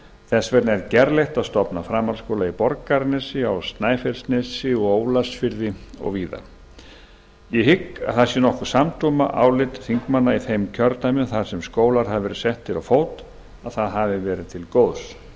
þess vegna er gerlegt að stofna framhaldsskóla í borgarnesi á snæfellsnesi og ólafsfirði og víðar ég hygg að það sé nokkuð samdóma álit þingmanna í þeim kjördæmum þar sem skólar hafa verið settir á fót að það hafi verið til góðs ég